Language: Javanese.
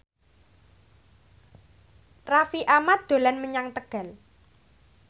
Raffi Ahmad dolan menyang Tegal